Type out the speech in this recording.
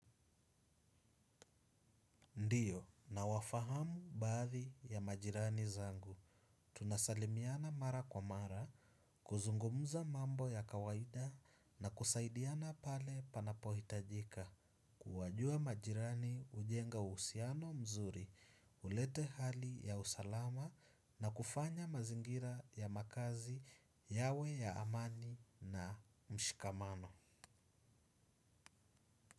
Ndiyo, nawafahamu baadhi ya majirani zangu. Tunasalimiana mara kwa mara, kuzungumuza mambo ya kawaida na kusaidiana pale panapo hitajika. Kuwajua majirani hujenga uhusiano mzuri, hulete hali ya usalama na kufanya mazingira ya makazi yawe ya amani na mshikamano.